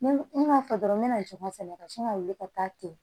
Ne m'a fɔ dɔrɔn n mɛ na joka sɛnɛ ka sin ka wuli ka taa ten